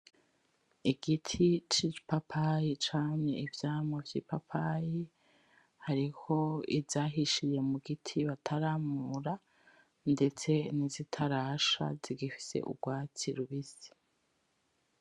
Igiti c'ipapayi camye ivyamwa vy'ipapayi, hariho izahishiye mu giti bataramura, ndetse nizitarasha zigifise ugwatsi rubisi.